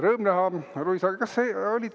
Rõõm näha, Luisa!